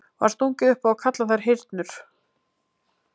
Var stungið upp á að kalla þær hyrnur.